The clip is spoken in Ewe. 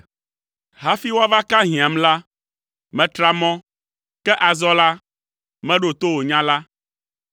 Hafi woava aka hiãm la, metra mɔ, ke azɔ la, meɖo to wò nya la.